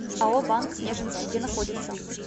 ао банк снежинский где находится